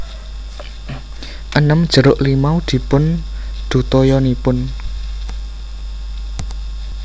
enem jeruk limau dipundhuttoyanipun